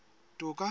toka